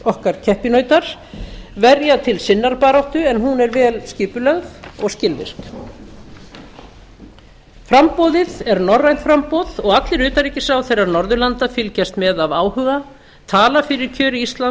okkar keppinautar verja til sinnar baráttu en hún er vel skipulögð og skilvirk framboðið er norrænt framboð og allir utanríkisráðherrar norðurlanda fylgjast með af áhuga tala fyrir kjöri íslands og